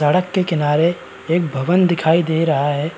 सड़क के किनारे एक भवन दिखाई दे रहा है